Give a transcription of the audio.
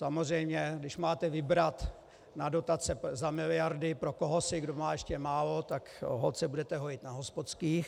Samozřejmě když máte vybrat na dotace za miliardy pro kohosi, kdo má ještě málo, tak holt se budete hojit na hospodských.